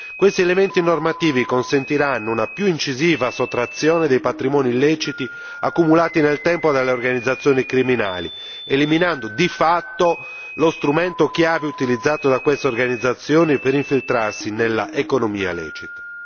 Questi elementi normativi consentiranno una più incisiva sottrazione dei patrimoni illeciti accumulati nel tempo dalle organizzazioni criminali eliminando, di fatto, lo strumento chiave utilizzato da queste organizzazioni per infiltrarsi nell'economia lecita.